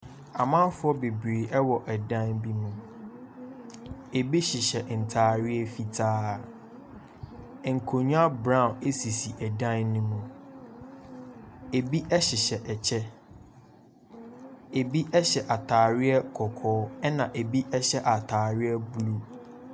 Amanfoɔ bebree wɔ dan bi mu. Ebi hyehyɛ ntareɛ fitaa. Nkonnwa brown sisi dan no mu. Ebi hyehyɛ kyɛ, ebi hyɛ atareɛ kɔkɔɔ, ɛnna ebi hyɛ atareɛ blue.